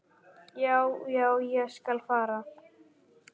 Já, já, ég skal fara.